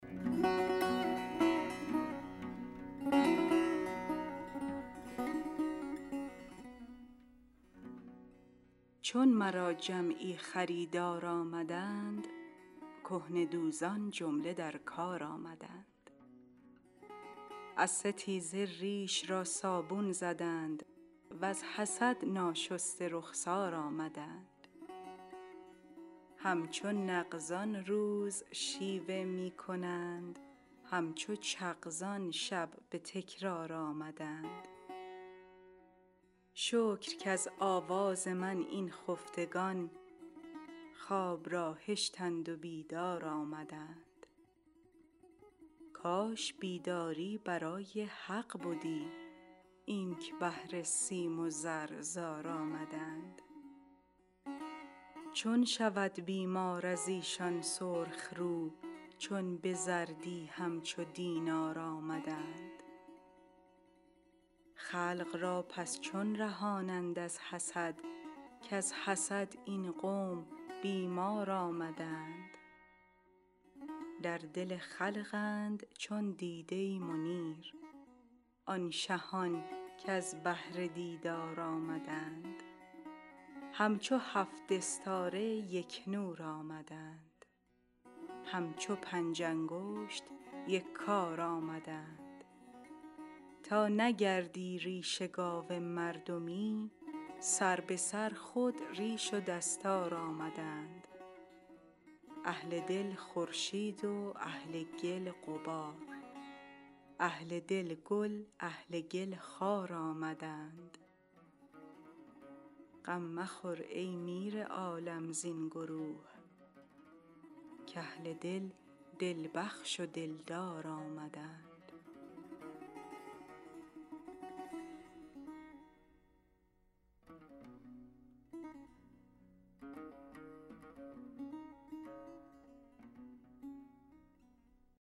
چون مرا جمعی خریدار آمدند کهنه دوزان جمله در کار آمدند از ستیزه ریش را صابون زدند وز حسد ناشسته رخسار آمدند همچو نغزان روز شیوه می کنند همچو چغزان شب به تکرار آمدند شکر کز آواز من این خفتگان خواب را هشتند و بیدار آمدند کاش بیداری برای حق بدی اینک بهر سیم و زر زار آمدند چون شود بیمار از ایشان سرخ رو چون به زردی همچو دینار آمدند خلق را پس چون رهانند از حسد کز حسد این قوم بیمار آمدند در دل خلقند چون دیده منیر آن شهان کز بهر دیدار آمدند همچو هفت استاره یک نور آمدند همچو پنج انگشت یک کار آمدند تا نگردی ریش گاو مردمی سر به سر خود ریش و دستار آمدند اهل دل خورشید و اهل گل غبار اهل دل گل اهل گل خار آمدند غم مخور ای میر عالم زین گروه کاهل دل دل بخش و دلدار آمدند